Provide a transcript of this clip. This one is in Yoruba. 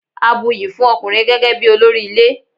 A buyì fún ọkùnrin gẹ́gẹ́ bí olórí ilé.